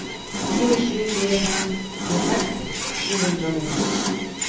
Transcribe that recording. fire sju fire fem tjueseks sju hundre og nittito